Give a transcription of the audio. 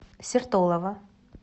сертолово